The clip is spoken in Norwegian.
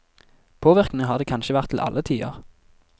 Påvirkning har det kanskje vært til alle tider.